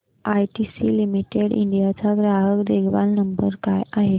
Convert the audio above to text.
ITC limited India चा ग्राहक देखभाल नंबर काय आहे